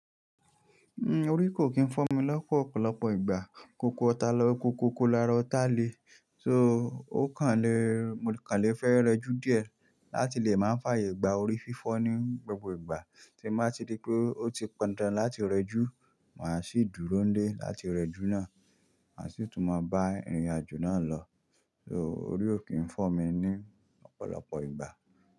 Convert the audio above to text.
Hmm orí kò kí ń fọ́ mi lọ́pọ̀ ọ̀pọ̀lọpọ̀ ìgbà. Kókó ọ̀tá lọ́ kókókó lára ọ̀tá le. So ó kàn le, mo kàn le fẹ́ rẹjú díẹ̀ láti lè máa fààyè gba orí fífọ́ ní gbogbo ìgbà tí máa ti dé pé ó ti pọ̀ndán láti rẹjú, màá sì dúró nlé láti rẹjú náà, màá sì tún máa bá ìrìnàjò náà lọ. So orí ò kí ń fọ́ mi ní ọ̀pọ̀lọpọ̀ ìgbà.